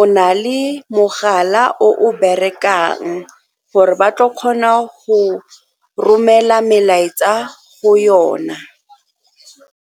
o na le mogala o o berekang gore ba tlo kgona go romela melaetsa go yona.